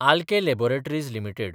Alkem laboratories limited